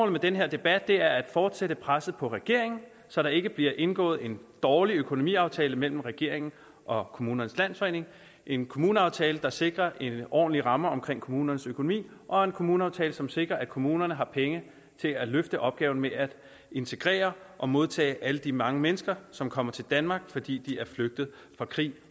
med den her debat er at fortsætte presset på regeringen så der ikke bliver indgået en dårlig økonomiaftale mellem regeringen og kommunernes landsforening en kommuneaftale der sikrer en ordentlig ramme omkring kommunernes økonomi og en kommuneaftale som sikrer at kommunerne har penge til at løfte opgaven med at integrere og modtage alle de mange mennesker som kommer til danmark fordi de er flygtet fra krig